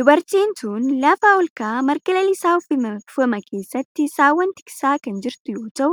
Dubartiin tun lafa olka'aa marga lalisaa uwwifame keessatti saawwan tiksaa kan jirtu yoo ta'u